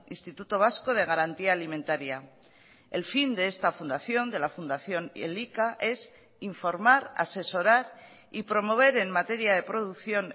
instituto vasco de garantía alimentaria el fin de esta fundación de la fundación elika es informar asesorar y promover en materia de producción